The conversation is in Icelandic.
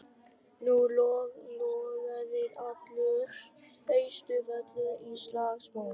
Nú logaði allur Austurvöllur í slagsmálum.